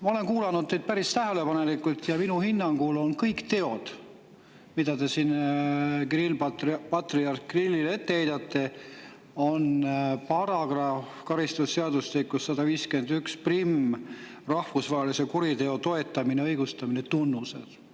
Ma olen kuulanud teid tähelepanelikult ja minu hinnangul on kõik teod, mida te patriarh Kirillile ette heidate, karistusseadustiku § 1511 "Rahvusvahelise kuriteo toetamine ja õigustamine" tunnused.